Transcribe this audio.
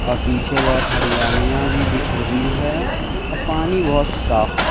अ पीछे बहोत हरियालियां भी दिख रही है अ पानी बहोत साफ है।